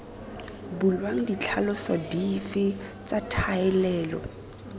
bulwang ditlhaloso dife tsa thalelo